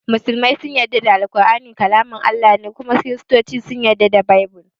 Musulmai sun yarda da ƙur'ani kalaman Allah ne su kuma kirista sun yarda da Baibill.